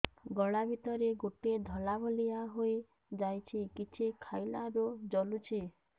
ଗଳା ଭିତରେ ଗୋଟେ ଧଳା ଭଳିଆ ହେଇ ଯାଇଛି କିଛି ଖାଇଲାରୁ ଜଳୁଛି